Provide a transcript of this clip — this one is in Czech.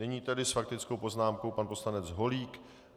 Nyní tedy s faktickou poznámkou pan poslanec Holík.